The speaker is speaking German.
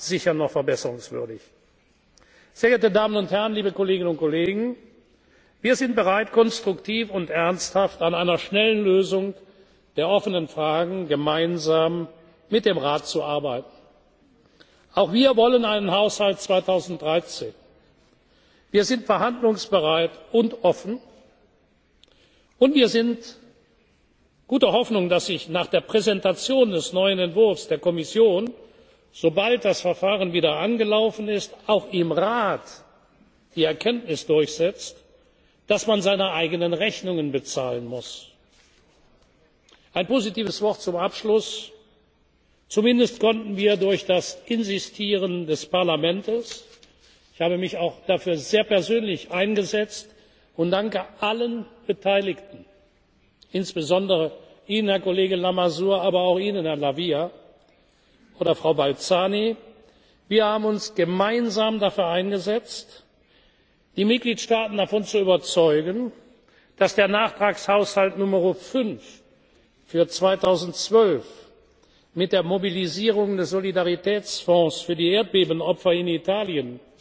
etwa in der Kategorie 1a sicher noch verbesserungswürdig. Sehr geehrte Damen und Herren, liebe Kolleginnen und Kollegen! Wir sind bereit, konstruktiv und ernsthaft an einer schnellen Lösung der offenen Fragen gemeinsam mit dem Rat zu arbeiten. Auch wir wollen einen Haushalt 2013. Wir sind verhandlungsbereit und offen und wir sind guter Hoffnung, dass sich nach der Präsentation des neuen Entwurfs der Kommission, sobald das Verfahren wieder angelaufen ist, auch im Rat die Erkenntnis durchsetzt, dass man seine eigenen Rechnungen bezahlen muss. Ein positives Wort zum Abschluss Zumindest konnten wir durch das Insistieren des Parlaments ich habe mich auch persönlich sehr dafür eingesetzt und danke allen Beteiligten, insbesondere Ihnen, Herr Kollege Lamassoure, aber auch Ihnen, Herr La Via oder Frau Balzani, wir haben uns gemeinsam dafür eingesetzt die Mitgliedstaaten davon überzeugen, dass der Nachtragshaushalt Nr. 5 für 2012 mit der Mobilisierung des Solidaritätsfonds